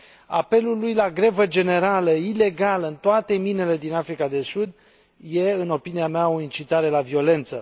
Apelul lui la grevă generală ilegală în toate minele din Africa de Sud e, în opinia mea, o incitare la violență.